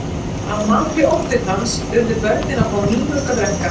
Að mati oddvitans urðu börnin að fá nýmjólk að drekka.